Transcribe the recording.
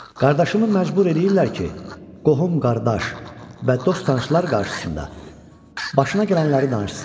Qardaşımı məcbur eləyirlər ki, qohum, qardaş və dost-tanışlar qarşısında başına gələnləri danışsın.